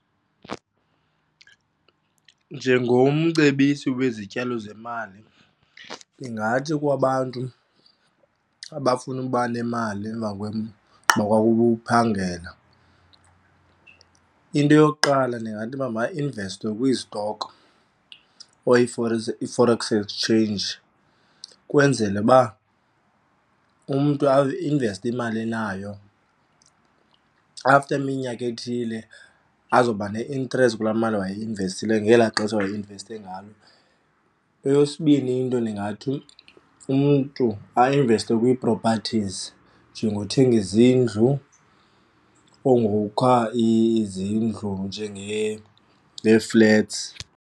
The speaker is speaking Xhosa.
Njengomcebisi wezityalo zemali ndingathi kwabantu abafuna ukuba nemali emva ugqiba kwabo uphangela, into yokuqala ndingathi mabainveste kwiizitokhi or i-forex exchange kwenzele uba umntu ainveste imali anayo, after iminyaka ethile azoba ne-interest kulaa mali wayeyi-investile ngelaa xesha wayeinveste ngalo. Eyesibini into ndingathi umntu ainveste kwii-properties njengokuthenga izindlu or ngokha izindlu ngeeflats.